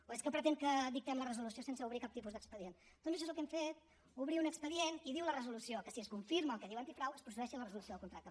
o és que pretén que dictem la resolució sense obrir cap tipus d’expedient doncs això és el que hem fet obrir un expedient i diu la resolució que si es confirma el que diu antifrau es procedeixi a la resolució del contracte